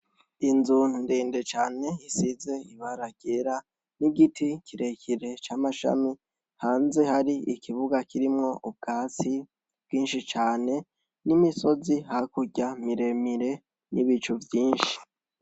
Inzu ndende cane isize ibara ryera, n’igiti kirekire c’amashami hanze hari ikibuga kirimwo ubwatsi bwinshi cane n’imisozi hakurya miremire n’ibicu vyinshi.